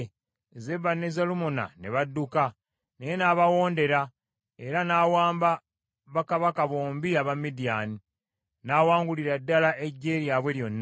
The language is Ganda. Zeba ne Zalumunna ne badduka, naye n’abawondera, era n’awamba bakabaka bombi aba Midiyaani, n’awangulira ddala eggye lyabwe lyonna.